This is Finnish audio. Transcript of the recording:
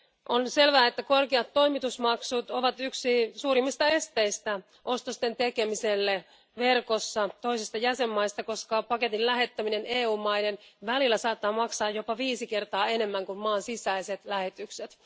On selvää, että korkeat toimitusmaksut ovat yksi suurimmista esteistä ostosten tekemiselle verkossa toisista jäsenmaista, koska paketin lähettäminen EU maiden välillä saattaa maksaa jopa viisi kertaa enemmän kuin maan sisäiset lähetykset.